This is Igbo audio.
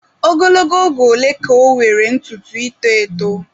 Ogologo oge ole ka ọ nwere ntutu ito eto?